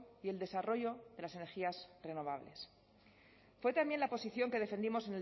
y el desarrollo de las energías renovables fue también la posición que defendimos